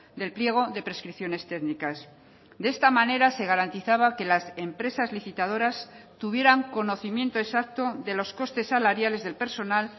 del pliego de prescripciones técnicas de esta manera se garantizaba que las empresas licitadoras tuvieran conocimiento exacto de los costes salariales del personal